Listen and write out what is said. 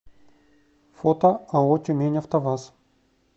фото ао тюмень автоваз